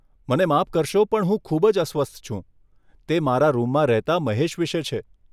મને માફ કરશો પણ હું ખૂબ જ અસ્વસ્થ છું, તે મારા રૂમમાં રહેતાં મહેશ વિશે છે.